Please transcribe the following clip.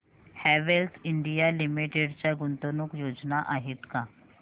Havells India limited च्या गुंतवणूक योजना आहेत का